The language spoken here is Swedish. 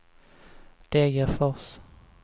Degerfors